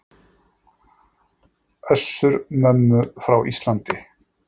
Össur-Mömmu frá Íslandi.